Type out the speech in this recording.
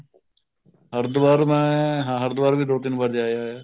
ਹਰਿਦਵਾਰ ਮੈਂ ਹਾਂ ਹਰਿਦਵਾਰ ਵੀ ਮੈਂ ਦੋ ਤਿੰਨ ਵਾਰ ਜਾ ਆਇਆ